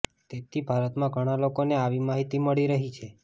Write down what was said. તેથી ભારતમાં ઘણા લોકોને અવી માહિતી મળી રહી છે